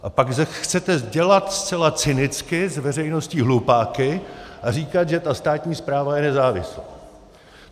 A pak chcete dělat zcela cynicky z veřejnosti hlupáky a říkat, že ta státní správa je nezávislá.